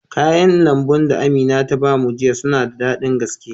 Kayan lambun da Amina ta ba mu jiya suna da daɗin gaske.